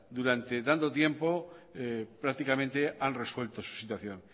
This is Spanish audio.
durante tanto tiempo prácticamente han resuelto su situación